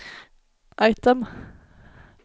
item